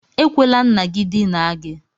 Ekwela nna gị dinaa gị!